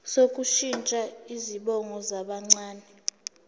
sokushintsha izibongo zabancane